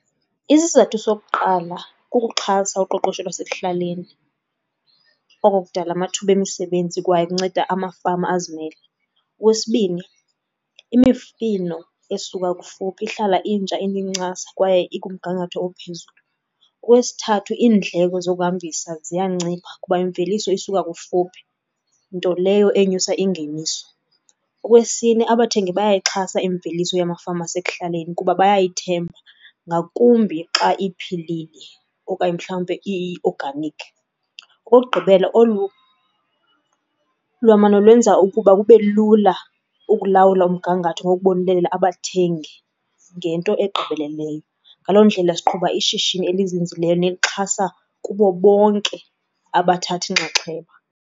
Isizathu sokuqala kukuxhasa uqoqosho lwasekuhlaleni. Oko kudala amathuba emisebenzi kwaye kunceda amafama azimele. Okwesibini, imifino esuka kufuphi ihlala intsha inencasa kwaye ikumgangatho ophezulu. Okwesithathu iindleko zokuhambisa ziyancipha kuba imveliso isuka kufuphi, nto leyo enyusa ingeniso. Okwesine, abathengi bayayixhasa imveliso yamafama asekuhlaleni kuba bayayithemba ngakumbi xa iphilile okanye mhlawumbe iyi-organic. Okokugqibela, olu lwamano olwenza ukuba bube lula ukulawula umgangatho ngokubonelela abathengi ngento egqibeleleyo. Ngaloo ndlela siqhuba ishishini elizinzileyo nelixhasa kubo bonke abathatha inxaxheba.